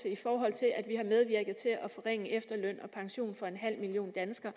i forhold til at vi har medvirket til at forringe efterløn og pension for en halv million danskere